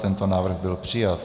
Tento návrh byl přijat.